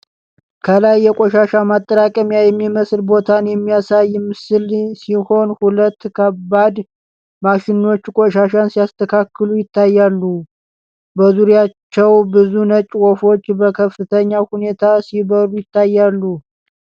ከላይ የቆሻሻ ማጠራቀሚያ የሚመስል ቦታን የሚያሳይ ምስል ሲሆን፣ ሁለት ከባድ ማሽኖች ቆሻሻ ሲያስተካክሉ ይታያሉ። በዙሪያቸው ብዙ ነጭ ወፎች በከፍተኛ ሁኔታ ሲበሩ ይታያሉ።